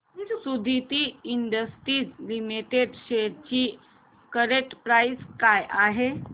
Suditi industries limited shares ची current price काय आहे